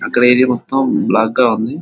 ఇక్కడ ఇది మొత్తం బ్లాక్గా ఉంది.